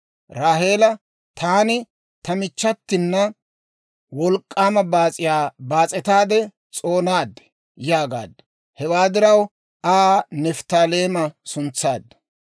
Raaheela, «Taani ta michchatina wolk'k'aama baas'iyaa baas'etaade s'oonaad» yaagaaddu. Hewaa diraw Aa Nifttaaleema suntsaaddu.